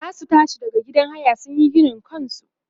zasu tashi daga gidan haya sunyi ginin kansu